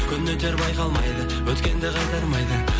күн өтер байқалмайды өткенді қайтармайды